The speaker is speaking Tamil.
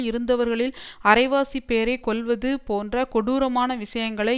இருந்தவர்களில் அரைவாசிப் பேரை கொல்வது போன்ற கொடூரமான விஷயங்களை